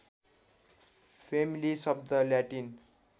family शब्द Latin